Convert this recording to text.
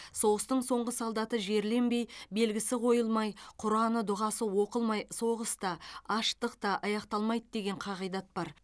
соғыстың соңғы солдаты жерленбей белгісі қойылмай құраны дұғасы оқылмай соғыс та аштық та аяқталмайды деген қағидат бар